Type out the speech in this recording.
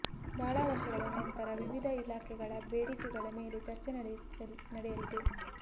ಬಹಳ ವರ್ಷಗಳ ನಂತರ ವಿವಿಧ ಇಲಾಖೆಗಳ ಬೇಡಿಕೆಗಳ ಮೇಲೆ ಚರ್ಚೆ ನಡೆಯಲಿದೆ